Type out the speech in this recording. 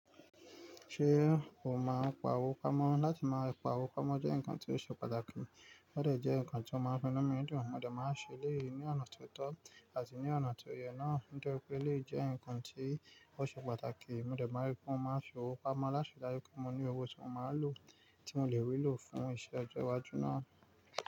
Ṣé o máa ń pa owó pamọ́? Láti máa pa owó pamọ́ jẹ́ nǹkan tó ṣe pàtàkì, ó dà jẹ́ nǹkan tí ó máa ń mú nù mí dùn. Mó dà máa ń ṣe elèyí ní ọ̀nà tó tọ́ àti ní ọ̀nà tó yẹ náà. Nítori pé, elèyí jẹ́ nǹkan tí ó ṣe pàtàkì. Mo de máa ń rí pé mó máa ń fi owó pamọ́ láti rí dájú pé mo ní owó tí mo máa ń lò, tí mo lè rí lò fún iṣẹ́ ọjọ́ iwájú náà.